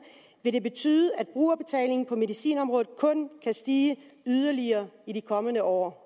vil det betyde at brugerbetalingen på medicinområdet kun kan stige yderligere i de kommende år